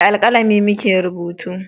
Da alkalami mu ke rubutu